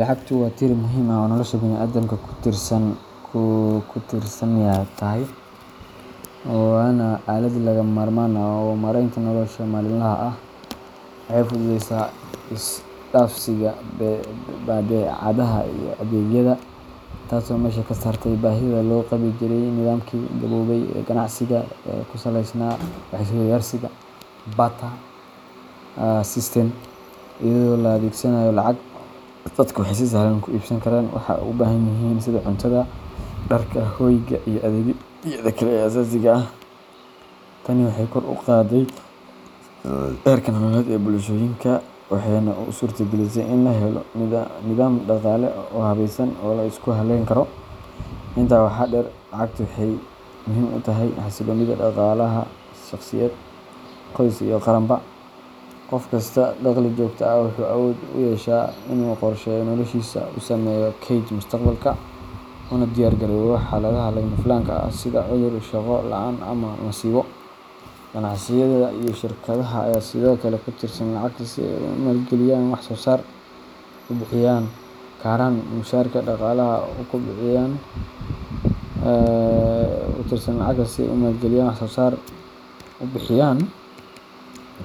Lacagtu waa tiir muhiim ah oo nolosha bini’aadamka ku tiirsan tahay, waana aalad lagama maarmaan u ah maaraynta nolosha maalinlaha ah. Waxay fududeysaa isdhaafsiga badeecadaha iyo adeegyada, taasoo meesha ka saartay baahida loo qabi jiray nidaamkii gaboobay ee ganacsiga ku saleysnaa wax-is-weydaarsiga barter system. Iyadoo la adeegsanayo lacag, dadku waxay si sahlan u iibsan karaan waxa ay u baahan yihiin sida cuntada, dharka, hoyga, iyo adeegyada kale ee aasaasiga ah. Tani waxay kor u qaadday heerka nololeed ee bulshooyinka, waxayna u suurtagelisay in la helo nidaam dhaqaale oo habaysan oo la isku halleyn karo. Intaa waxaa dheer, lacagtu waxay muhiim u tahay xasilloonida dhaqaalaha shaqsiyeed, qoys iyo qarankaba. Qofka haysta dakhli joogto ah wuxuu awood u yeeshaa inuu qorsheeyo noloshiisa, u sameeyo kayd mustaqbalka, una diyaar garoobo xaaladaha lama filaanka ah sida cudur, shaqo la’aan ama masiibo. Ganacsiyada iyo shirkadaha ayaa sidoo kale ku tiirsan lacagta si ay u maalgeliyaan wax soo saar, u bixin